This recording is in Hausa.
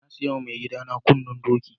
Na siya ma maigida na kunnen doki.